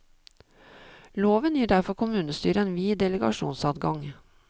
Loven gir derfor kommunestyret en vid delegasjonsadgang.